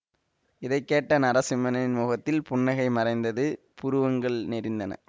இதை கேட்ட நரசிம்மரின் முகத்தில் புன்னகை மறைந்தது புருவங்கள் நெறிந்தன